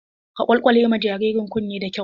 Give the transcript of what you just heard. Ka kwalkwale ma jaririn kunne da kyau!